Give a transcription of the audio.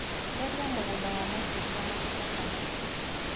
Theria mũgũnda wa macungwa mahinda kwa mahinda.